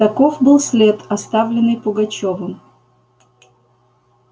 таков был след оставленный пугачёвым